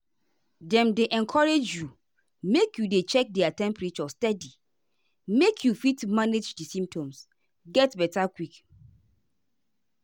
dem dey encourage you make you dey check their temperature steady make you fit manage di symptoms get beta quick.